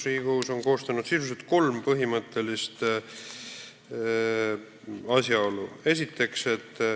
Riigikohus on kirja pannud sisuliselt kolm põhimõttelist asjaolu.